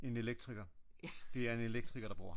En elektriker det er en elektriker der bor her